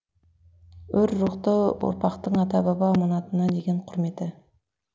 өр рухты ұрпақтың ата баба аманатына деген құрметі